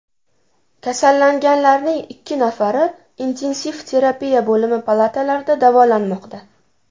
Kasallanganlarning ikki nafari intensiv terapiya bo‘limi palatalarida davolanmoqda.